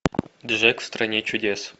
джек в стране чудес